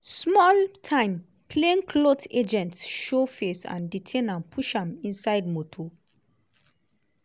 small time plainclothe agents show face and detain am push am inside motor.